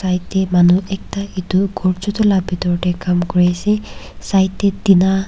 right tae manu ekta edu ghor chutu la bitor tae Kam kuriase side tae tina.